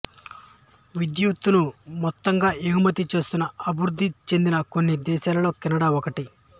విద్యుత్తును మొత్తంగా ఎగుమతి చేస్తున్న అభివృద్ధి చెందిన కొన్ని దేశాలలో కెనడా ఒకటి